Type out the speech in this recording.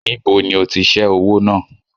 Níbo ni ó ti ṣe owó náà?